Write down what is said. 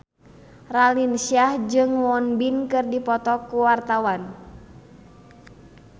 Raline Shah jeung Won Bin keur dipoto ku wartawan